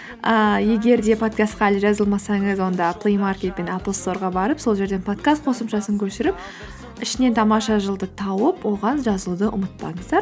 ііі егер де подкастқа әлі жазылмасаңыз онда плеймаркет пен аплсторға барып сол жерден подкаст қосымшасын көшіріп ішінен тамаша жыл ды тауып оған жазылуды ұмытпаңыздар